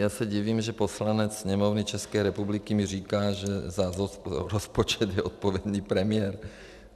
Já se divím, že poslanec Sněmovny České republiky mi říká, že za rozpočet je odpovědný premiér.